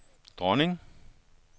dronning